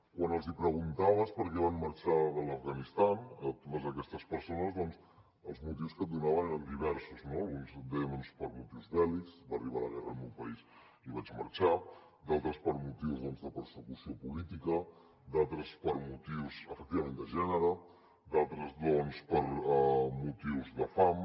quan els hi preguntaves per què van marxar de l’afganistan a totes aquestes persones doncs els motius que et donaven eren diversos no alguns deien per motius bèl·lics va arribar la guerra al meu país i vaig marxar d’altres per motius de persecució política d’altres per motius efectivament de gènere d’altres per motius de fam